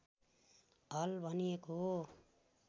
हल भनिएको हो